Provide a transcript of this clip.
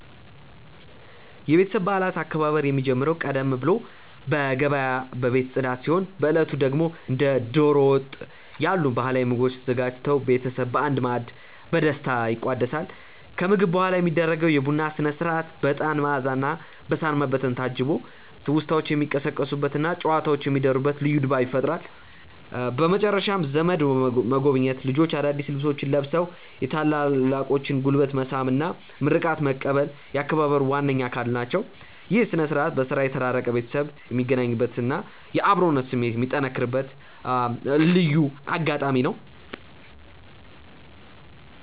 የቤተሰብ በዓላት አከባበር የሚጀምረው ቀደም ብሎ በገበያና በቤት ጽዳት ሲሆን፣ በዕለቱ ደግሞ እንደ ደሮ ወጥ ያሉ ባህላዊ ምግቦች ተዘጋጅተው ቤተሰብ በአንድ ማዕድ በደስታ ይቋደሳል። ከምግብ በኋላ የሚደረገው የቡና ሥነ-ሥርዓት በዕጣን መዓዛና በሳር መበተን ታጅቦ ትውስታዎች የሚቀሰቀሱበትና ጨዋታዎች የሚደሩበት ልዩ ድባብ ይፈጥራል። በመጨረሻም ዘመድ መጎብኘት፣ ልጆች አዳዲስ ልብሶቻቸውን ለብሰው የታላላቆችን ጉልበት መሳም እና ምርቃት መቀበል የአከባበሩ ዋነኛ አካል ናቸው። ይህ ሥነ-ሥርዓት በሥራ የተራራቀ ቤተሰብ የሚገናኝበትና የአብሮነት ስሜት የሚጠነክርበት ልዩ አጋጣሚ ነው።